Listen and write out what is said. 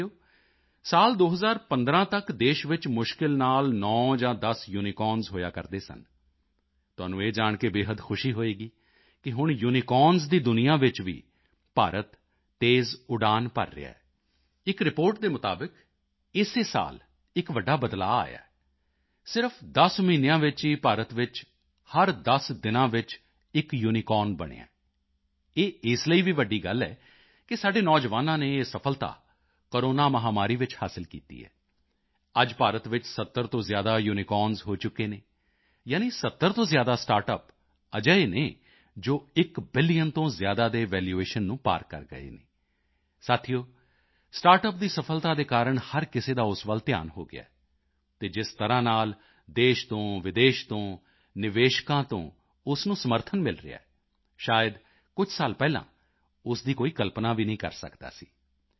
ਸਾਥੀਓ ਸਾਲ 2015 ਤੱਕ ਦੇਸ਼ ਵਿੱਚ ਮੁਸ਼ਕਿਲ ਨਾਲ 9 ਜਾਂ 10 ਯੂਨੀਕੌਰਨਜ਼ ਹੋਇਆ ਕਰਦੇ ਸਨ ਤੁਹਾਨੂੰ ਇਹ ਜਾਣ ਕੇ ਬੇਹੱਦ ਖੁਸ਼ੀ ਹੋਵੇਗੀ ਕਿ ਹੁਣ ਯੂਨੀਕੌਰਨਜ਼ ਦੀ ਦੁਨੀਆ ਵਿੱਚ ਵੀ ਭਾਰਤ ਤੇਜ਼ ਉਡਾਨ ਭਰ ਰਿਹਾ ਹੈ ਇੱਕ ਰਿਪੋਰਟ ਦੇ ਮੁਤਾਬਿਕ ਇਸੇ ਸਾਲ ਇੱਕ ਵੱਡਾ ਬਦਲਾਓ ਆਇਆ ਹੈ ਸਿਰਫ਼ 10 ਮਹੀਨਿਆਂ ਵਿੱਚ ਹੀ ਭਾਰਤ ਵਿੱਚ ਹਰ 10 ਦਿਨਾਂ ਵਿੱਚ ਇੱਕ ਯੂਨੀਕੋਰਨ ਬਣਿਆ ਹੈ ਇਹ ਇਸ ਲਈ ਵੀ ਵੱਡੀ ਗੱਲ ਹੈ ਕਿ ਸਾਡੇ ਨੌਜਵਾਨਾਂ ਨੇ ਇਹ ਸਫ਼ਲਤਾ ਕੋਰੋਨਾ ਮਹਾਮਾਰੀ ਵਿੱਚ ਹਾਸਿਲ ਕੀਤੀ ਹੈ ਅੱਜ ਭਾਰਤ ਵਿੱਚ 70 ਤੋਂ ਜ਼ਿਆਦਾ ਯੂਨੀਕੌਰਨਜ਼ ਹੋ ਚੁੱਕੇ ਹਨ ਯਾਨੀ 70 ਤੋਂ ਜ਼ਿਆਦਾ ਸਟਾਰਟਅਪ ਅਜਿਹੇ ਹਨ ਜੋ 1 ਬਿਲੀਅਨ ਤੋਂ ਜ਼ਿਆਦਾ ਦੇ ਵੈਲੂਏਸ਼ਨ ਨੂੰ ਪਾਰ ਕਰ ਗਏ ਹਨ ਸਾਥੀਓ ਸਟਾਰਟਅਪ ਦੀ ਸਫ਼ਲਤਾ ਦੇ ਕਾਰਨ ਹਰ ਕਿਸੇ ਦਾ ਉਸ ਵੱਲ ਧਿਆਨ ਗਿਆ ਹੈ ਅਤੇ ਜਿਸ ਤਰ੍ਹਾਂ ਨਾਲ ਦੇਸ਼ ਤੋਂ ਵਿਦੇਸ਼ ਤੋਂ ਨਿਵੇਸ਼ਕਾਂ ਤੋਂ ਉਸ ਨੂੰ ਸਮਰਥਨ ਮਿਲ ਰਿਹਾ ਹੈ ਸ਼ਾਇਦ ਕੁਝ ਸਾਲ ਪਹਿਲਾਂ ਉਸ ਦੀ ਕੋਈ ਕਲਪਨਾ ਵੀ ਨਹੀਂ ਕਰ ਸਕਦਾ ਸੀ